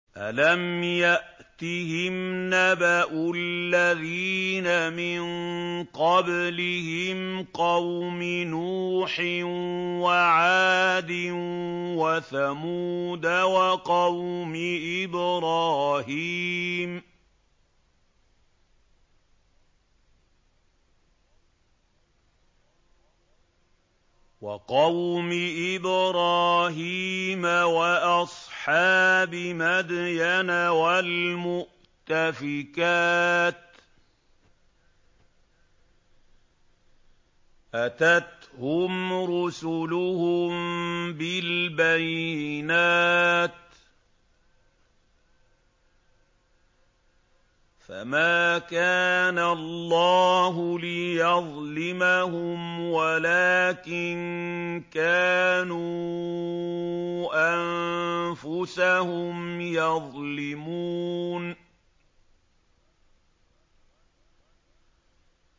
أَلَمْ يَأْتِهِمْ نَبَأُ الَّذِينَ مِن قَبْلِهِمْ قَوْمِ نُوحٍ وَعَادٍ وَثَمُودَ وَقَوْمِ إِبْرَاهِيمَ وَأَصْحَابِ مَدْيَنَ وَالْمُؤْتَفِكَاتِ ۚ أَتَتْهُمْ رُسُلُهُم بِالْبَيِّنَاتِ ۖ فَمَا كَانَ اللَّهُ لِيَظْلِمَهُمْ وَلَٰكِن كَانُوا أَنفُسَهُمْ يَظْلِمُونَ